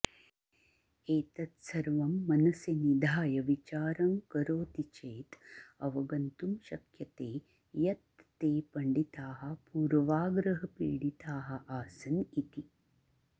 एतत्सर्वं मनसि निधाय विचारं करोति चेत् अवगन्तुं शक्यते यत् ते पण्डिताः पूर्वाग्रहपीडिताः आसन् इति